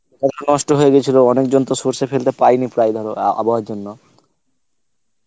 নষ্ট হয়ে গেছিল তো অনেকজন তো সর্ষে ফেলতে পারেনি প্রায় ধর আবহাওয়ার জন্য